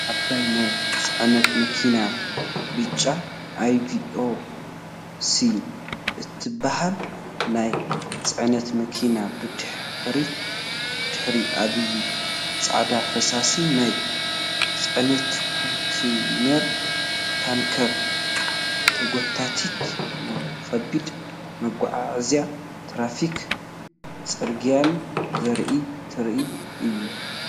ዓባይ ናይ ጽዕነት መኪና፡ ብጫ "IVECO" እትበሃል ናይ ጽዕነት መኪና፡ ብድሕሪኣ ዓባይ ጻዕዳ ፈሳሲ ናይ ጽዕነት ኮንተይነር ታንከር ተጎቲታ። ንከቢድ መጓዓዝያን ትራፊክ ጽርግያን ዝረኢ ትርኢት ኣለዎ።